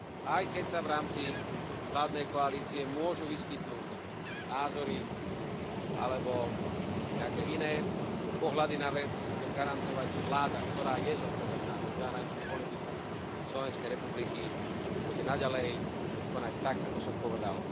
Aj keď sa v rámci vládnej koalície môžu vyskytnúť názory alebo nejaké iné pohľady na vec, chcem garantovať, že vláda, ktorá je zodpovedná za zahraničnú politiku Slovenskej republiky, bude naďalej konať tak, ako som povedal.